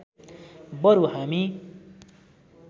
बरु हामी